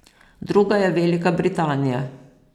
Druga je Velika Britanija.